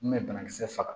N bɛ banakisɛ faga